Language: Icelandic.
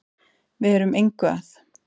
Við erum engu að